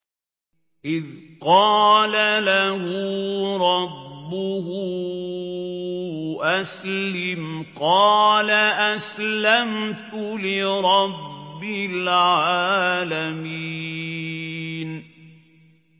إِذْ قَالَ لَهُ رَبُّهُ أَسْلِمْ ۖ قَالَ أَسْلَمْتُ لِرَبِّ الْعَالَمِينَ